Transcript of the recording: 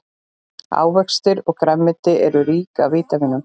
ávextir og grænmeti eru rík af vítamínum